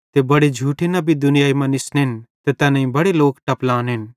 ते बड़े झूठे नबी दुनियाई मां निसनेन ते बड़े लोक टपलानेन